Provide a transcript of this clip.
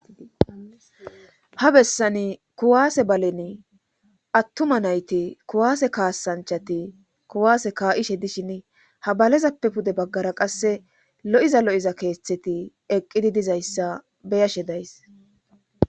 Ha bessani kuwaase balen attuma nayti kuwaase kaasanchati kuwaase kaa'ishe dishin ha balezappe pude baggara qasse lo'iza lo'iza keeththeti eqqidi dizayssa beyashe days.